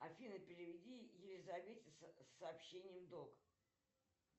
афина переведи елизавете сообщением долг